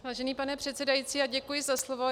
Vážený pane předsedající, děkuji za slovo.